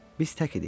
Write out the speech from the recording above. Biz tək idik.